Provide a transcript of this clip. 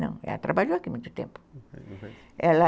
Não, ela trabalhou aqui muito tempo